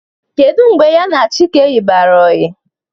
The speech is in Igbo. Kedụ mgbe ya na Chike yibarụ ọyi?